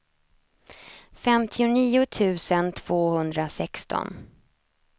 femtionio tusen tvåhundrasexton